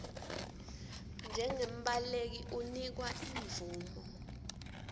njengembaleki unikwa imvumo